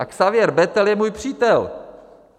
A Xavier Bettel je můj přítel!